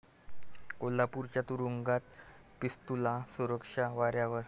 कोल्हापूरच्या तुरूंगात 'पिस्तुल्या', सुरक्षा वाऱ्यावर?